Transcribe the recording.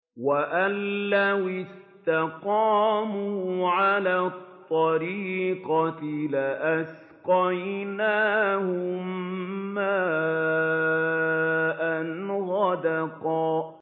وَأَن لَّوِ اسْتَقَامُوا عَلَى الطَّرِيقَةِ لَأَسْقَيْنَاهُم مَّاءً غَدَقًا